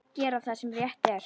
Gera það sem rétt er.